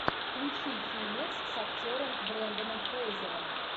включи фильмец с актером бренданом фрейзером